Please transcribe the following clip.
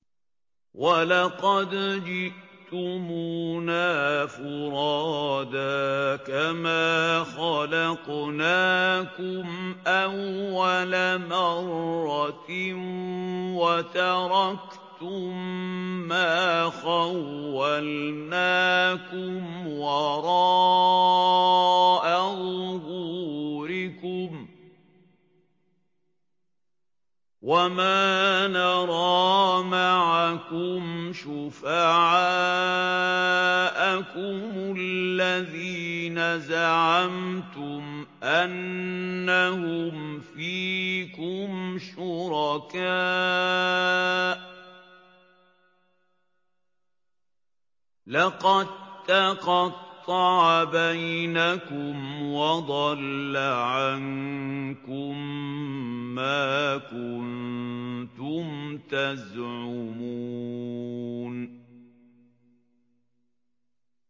وَلَقَدْ جِئْتُمُونَا فُرَادَىٰ كَمَا خَلَقْنَاكُمْ أَوَّلَ مَرَّةٍ وَتَرَكْتُم مَّا خَوَّلْنَاكُمْ وَرَاءَ ظُهُورِكُمْ ۖ وَمَا نَرَىٰ مَعَكُمْ شُفَعَاءَكُمُ الَّذِينَ زَعَمْتُمْ أَنَّهُمْ فِيكُمْ شُرَكَاءُ ۚ لَقَد تَّقَطَّعَ بَيْنَكُمْ وَضَلَّ عَنكُم مَّا كُنتُمْ تَزْعُمُونَ